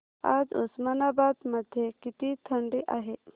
आज उस्मानाबाद मध्ये किती थंडी आहे